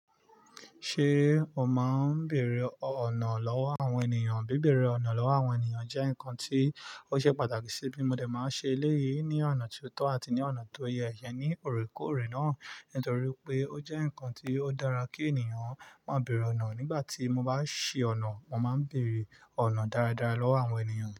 Ṣé o máa ń bèrè ọ̀nà lọ́wọ́ àwọn ènìyàn? Bí bẹ̀rẹ̀ ọ̀nà lọ́wọ́ àwọn ènìyàn jẹ́ nǹkan tí ó ṣe pàtàkì sí mi. Mo dè máa ń ṣe eléyìí ní ọ̀nà tó tọ́ àti ní ọ̀nà tó yẹ ní òrèkóòrè náà, nítorí pé ó jẹ́ nǹkan tí ó dára kí ènìyàn máa bèrè ọ̀nà. Nígbà tí mo bá ṣi ọ̀nà, mo máa ń bèrè ọ̀nà dáradára lọ́wọ́ àwọn ènìyàn.